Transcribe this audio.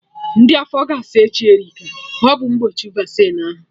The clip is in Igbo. Ndị afọ ga-asa echi Erika, ọ bụ mgbochi Vaccine ahụ